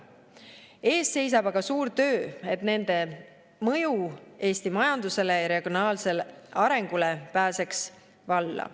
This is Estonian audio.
Ees seisab aga suur töö, et nende mõju Eesti majandusele ja regionaalsele arengule pääseks valla.